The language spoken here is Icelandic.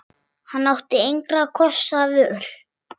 Hann átti engra kosta völ.